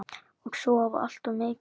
Og sofa allt of mikið.